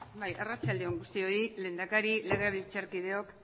bai arratsalde on guztioi lehendakari legebiltzarkideok